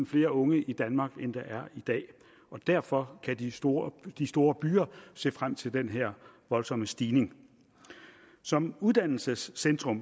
flere unge i danmark end der i dag og derfor kan de store de store byer se frem til den her voldsomme stigning som uddannelsescentre